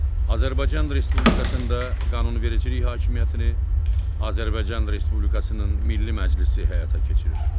Azərbaycan Respublikasında qanunvericilik hakimiyyətini Azərbaycan Respublikasının Milli Məclisi həyata keçirir.